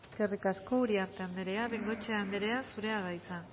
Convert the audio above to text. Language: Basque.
eskerrik asko uriarte andrea bengoechea andrea zurea da hitza